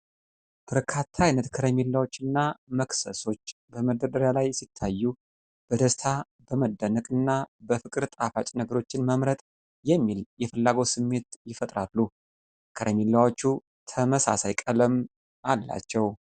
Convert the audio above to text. በርካታ ዓይነት ከረሜላዎች እና መክሰሶች በመደርደሪያ ላይ ሲታዩ፣ በደስታ፣ በመደነቅ እና በፍቅር ጣፋጭ ነገሮችን መምረጥ የሚል የፍላጎት ስሜት ይፈጥራሉ። ከረሚላዎቹ ተመሳሳይ ቀለም አላቸው።